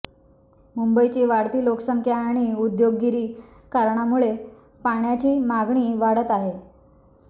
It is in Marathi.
मुंबईची वाढती लोकसंख्या आणि औद्योगिकीकरणामुळे पाण्याची मागणी वाढत आहे